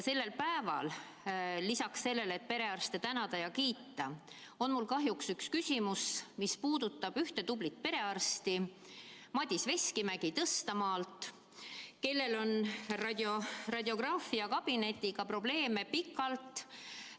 Sellel päeval on lisaks sellele, et perearste tuleb tänada ja kiita, mul kahjuks üks küsimus, mis puudutab ühte tublit perearsti, Madis Veskimäge Tõstamaalt, kellel on radiograafiakabinetiga pikalt probleeme olnud.